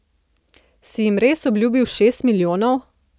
Si jim res obljubil šest milijonov?